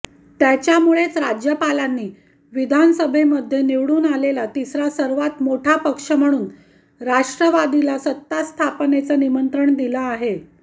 त्यामुळेच राज्यपालांनी विधानसभेमध्ये निवडून आलेला तिसरा सर्वात मोठा पक्ष म्हणून राष्ट्रवादीला सत्तास्थापनेचं निमंत्रण दिलं आहे